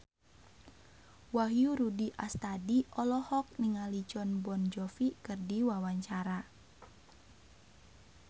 Wahyu Rudi Astadi olohok ningali Jon Bon Jovi keur diwawancara